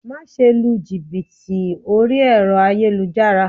Máse lu jìbìtì orí ẹ̀rọ ayélujára